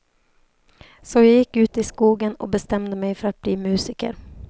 Så jag gick ut i skogen och bestämde mig för att bli musiker.